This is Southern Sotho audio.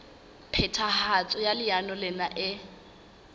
phethahatso ya leano lena e